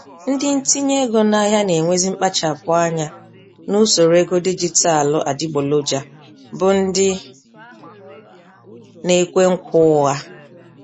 Ndị ntinye ego n'ahịa nenwezi mkpachapụ anya n'usoro ego dijitalụ adịgboloja, bụ ndị nekwe nkwa ụgha